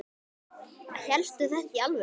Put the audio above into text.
Hélstu þetta í alvöru?